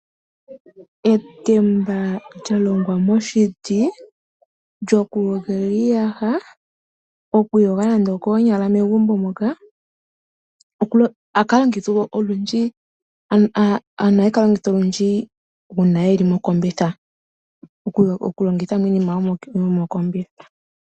Etemba lyalongwa moshiti lyokuyogela iiyaha, okwiiyoga nande okoonyala megumbo moka. Ohali longithwa olundji uuna yeli mokombitha.